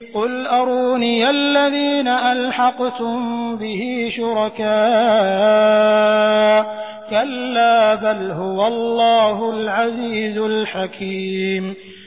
قُلْ أَرُونِيَ الَّذِينَ أَلْحَقْتُم بِهِ شُرَكَاءَ ۖ كَلَّا ۚ بَلْ هُوَ اللَّهُ الْعَزِيزُ الْحَكِيمُ